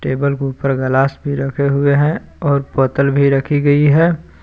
Table के ऊपर glass भी रखे हुए हैं और बोतल भी रखी गई है।